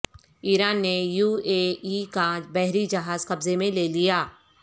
ایران نے UAE کا بحر ی جہاز قبضے میں لے لیا